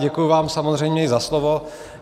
Děkuji vám samozřejmě i za slovo.